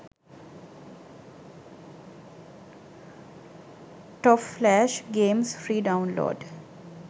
top flash games free download